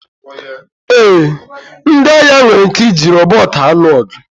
Ee, ndị agha nwere ike iji rọbọt alụ ọgụ